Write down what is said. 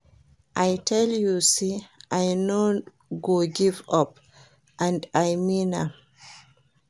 I tell you say I no go give up and I mean am